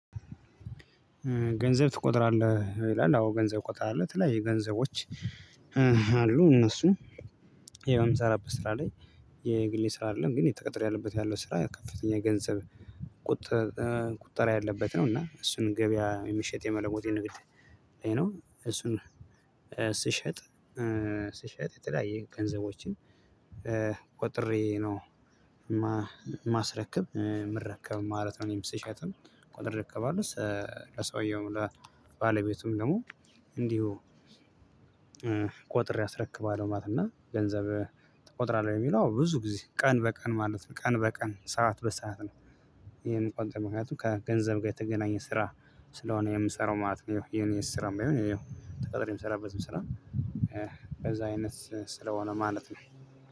ገንዘብ ትቆጥራለህ ይላል አዎ ገንዘብ እቆጥራለሁ የተለያዩ ገንዘቦች አሉ እነሱ ይሄው የምሰራበት ስራ ላይ የግሌ ስራ አይደለም ግን የተቀጠረበት ያለው ስራ ከፍተኛ ገንዘብ ቁጥር ቁጠራ ያለበት ነው እና እሱን ገበያ የሚሸጥ የመለጥ የንግድ ነው እሱን ስሸጥ ስሸጥ የተለያየ ገንዘቦችን ቆጥሬ ነው ማስረከብ ምረከብ ማለት ነው። እኔም ስሸጥም ቆጥሬ ረከባለሁ ለሰውየው ለባለቤቱም ደግሞ እንዲሁ ቆጥሬ አስረክባለሁ ማለት እና ገንዘብ ትቆጥራለህ? የሚለው ብዙ ጊዜ ቀን በቀን ማለት ነው። ቀን በቀን ሰዓት በሰአት ነው የምቆጥር ምክንያቱም ከገንዘብ ጋር የተገናኘ ስራ ስለሆነ የምሰራው ማለት ነው። የኔ ስራ ባይሆን ተቀጥሬ ሰራበትም ስራ በዛ አይነት ስለሆነ ማለት ነው።